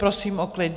Prosím o klid.